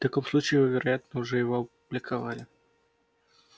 в таком случае вы вероятно уже его опубликовали